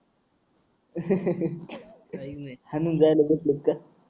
हाणून जायला बसलोत का